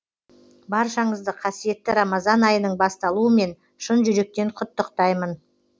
баршаңызды қасиетті рамазан айының басталуымен шын жүректен құттықтаймын